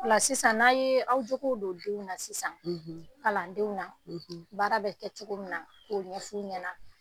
Sisan n'a' ye aw juguw don denw na sisan kalandenw na baara bɛ kɛ cogo min na k'o ɲɛf'u ɲɛna